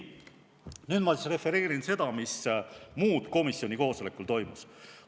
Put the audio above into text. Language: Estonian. Nüüd ma refereerin seda, mis muud komisjoni koosolekul toimus.